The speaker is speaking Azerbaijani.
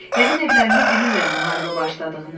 Yəqin evlərində bilirlər müharibə başladığını.